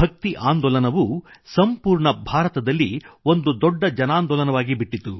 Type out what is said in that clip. ಭಕ್ತಿ ಆಂದೋಲನವು ಸಂಪೂರ್ಣ ಭಾರತದಲ್ಲಿ ಒಂದು ದೊಡ್ಡ ಜನಾಂದೋಲನವಾಗಿಬಿಟ್ಟಿತು